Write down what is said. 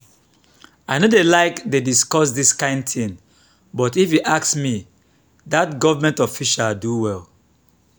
i no dey like to dey discuss dis kin thing but if you ask me dat government official do well